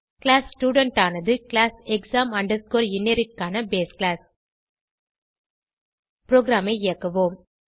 class student ஆனது class exam inherit க்கான base class ப்ரோகிராமை இயக்குவோம்